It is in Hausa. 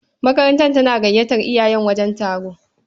Makaranta tana gayyatar iyaye wajen taro.